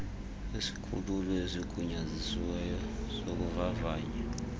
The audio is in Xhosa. isikhululo esigunyazisiweyo sokuvavanya